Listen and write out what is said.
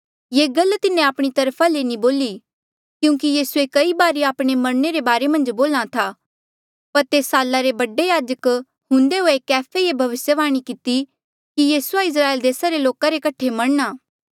ये गल तिन्हें आपणी तरफा ले नी बोली क्यूंकि यीसूए कई बारी आपणे मरणे रे बारे बोल्हा था पर तेस साला रे बडा याजक हुंदे हुए कैफे ये भविस्यवाणी किती कि यीसूआ इस्राएल देसा रे लोका रे कठे मरणा